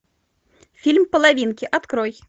фильм половинки открой